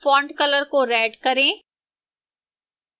font color को red करें